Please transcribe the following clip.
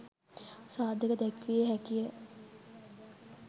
සාධක දැක්විය හැකි ය.